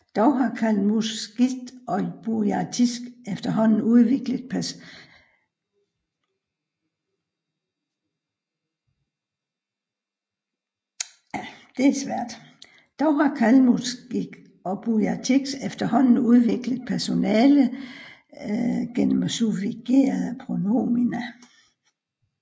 Dog har kalmuckisk og burjatisk efterhånden udviklet personalendelser gennem suffigerede pronomina